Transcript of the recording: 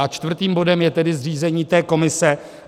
A čtvrtým bodem je tedy zřízení té komise.